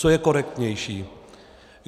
Co je korektnější?